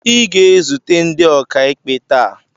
ị ga-ezute ndị okaikpe tàà